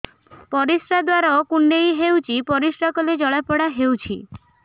ପରିଶ୍ରା ଦ୍ୱାର କୁଣ୍ଡେଇ ହେଉଚି ପରିଶ୍ରା କଲେ ଜଳାପୋଡା ହେଉଛି